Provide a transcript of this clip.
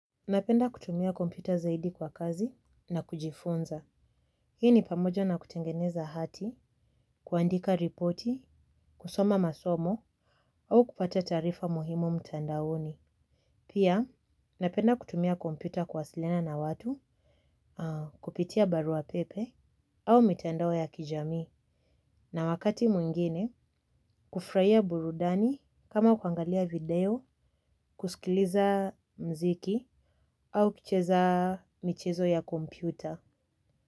Napenda kutumia kompyta zaidi kwa kazi na kujifunza. Hii ni pamoja na kutengeneza hati, kuandika ripoti, kusoma masomo, au kupata taarifa muhimu mtandaoni. Pia, napenda kutumia kompyuta kuwasiliana na watu, kupitia barua pepe, au mitandao ya kijamii. Na wakati mwingine, kufurahia burudani kama kuangalia video, kusikiliza mziki, au kucheza michezo ya kompyuta.